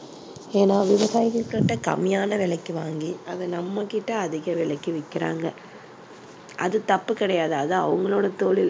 ஏன்னா விவசாயிகள் கிட்ட கம்மியான விலைக்கு வாங்கி அதை நம்ம கிட்ட அதிக விலைக்கு விக்கிறாங்க. அது தப்பு கிடையாது, அது அவங்களோட தொழில்